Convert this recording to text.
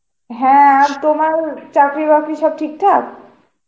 হ্যাঁ আর তোমার চাকরি বাকরি সব ঠিকঠাক?